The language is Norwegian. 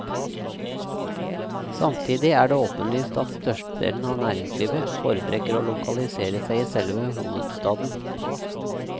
Samtidig er det åpenlyst at størstedelen av næringslivet foretrekker å lokalisere seg i selve hovedstaden.